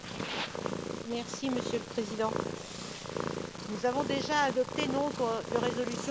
Monsieur le Président, nous avons déjà adopté nombre de résolutions sur le Soudan.